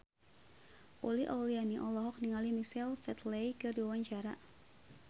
Uli Auliani olohok ningali Michael Flatley keur diwawancara